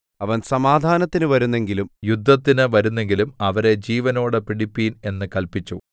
അപ്പോൾ അവൻ അവർ സമാധാനത്തിന് വരുന്നെങ്കിലും യുദ്ധത്തിന് വരുന്നെങ്കിലും അവരെ ജീവനോടെ പിടിപ്പിൻ എന്ന് കല്പിച്ചു